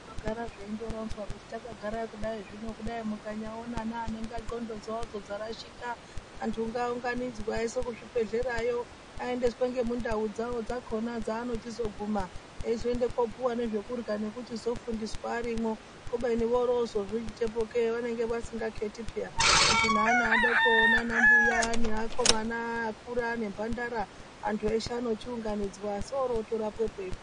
Zvinogara zveindoronzwa kuti takagara kudai, zvino kudai mukanyaona neane ndxondo dzawodzo dzarashika. Antu ngaaunganidzwe aiswe kuzvibhedhlerayo. Aendeswe ngemundau dzavo dzakhona dzaanochizoguma eizoenda kopuwa nezvekurya nekuchizofundiswa arimo kubeni orozozviitepokei, vanenge vasingakheti peyani. Kuti neana adoko nana mbuya neakomana akura aene mbhandara antu eshe anochiunganidzwa soro otorapepwo.